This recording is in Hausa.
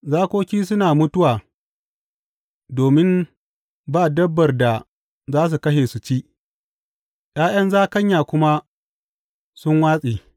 Zakoki suna mutuwa domin ba dabbar da za su kashe su ci, ’ya’yan zakanya kuma sun watse.